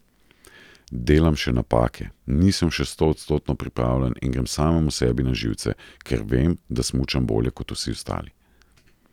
Delam še napake, nisem še stoodstotno pripravljen in grem samemu sebi na živce, ker vem, da smučam bolje kot vsi ostali.